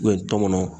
U ye tɔnɔnɔ